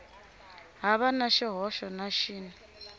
hava na xihoxo na xin